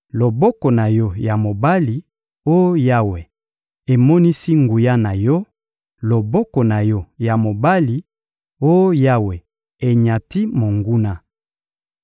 Loboko na Yo ya mobali, oh Yawe, emonisi nguya na Yo; loboko na Yo ya mobali, oh Yawe, enyati monguna.